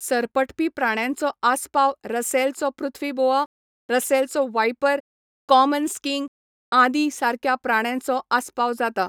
सरपटपी प्राण्यांचो आस्पाव रसेलाचो पृथ्वी बोआ, रसेलचो वाइपर, कॉमन स्किंक आदी सारक्या प्राण्यांचो आस्पाव जाता.